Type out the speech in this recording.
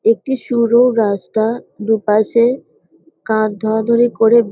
একটি সরু রাস্তা দুপাশে কাঁধ ধরাধরি করে --